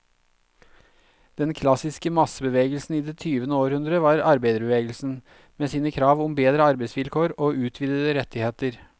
Den klassiske massebevegelsen i det tyvende århundre var arbeiderbevegelsen, med sine krav om bedre arbeidsvilkår og utvidede rettigheter.